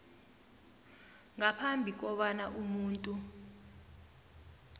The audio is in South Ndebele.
ngaphambi kobana umuntu